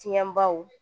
Tiɲɛbaw